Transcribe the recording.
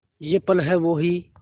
ये पल हैं वो ही